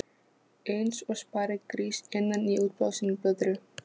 Eins og sparigrís innan í útblásinni blöðru.